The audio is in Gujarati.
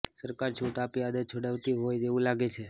સરકાર છૂટ આપી આદત છોડાવતી હોય તેવું લાગે છે